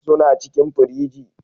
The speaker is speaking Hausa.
Suna cikin firiji.